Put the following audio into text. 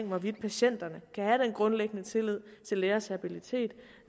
hvorvidt patienterne kan have den grundlæggende tillid til lægers habilitet